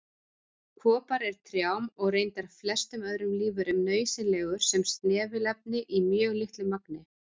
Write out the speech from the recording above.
Kopar er trjám, og reyndar flestum öðrum lífverum, nauðsynlegur sem snefilefni í mjög litlu magni.